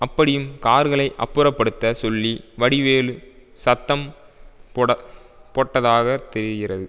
அப்படியும் கார்களை அப்புறப்படுத்தச் சொல்லி வடிவேலு சத்தம் போட போட்டதாக தெரிகிறது